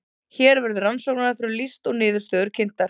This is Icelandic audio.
hér verður rannsóknaraðferðum lýst og niðurstöður kynntar